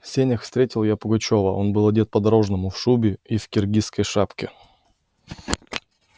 в сенях встретил я пугачёва он был одет по-дорожному в шубе и в киргизской шапке